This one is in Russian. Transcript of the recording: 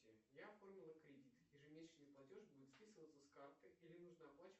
я оформил кредит ежемесячный платеж будет списываться с карты или нужно оплачивать